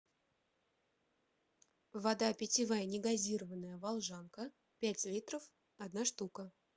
вода питьевая негазированная волжанка пять литров одна штука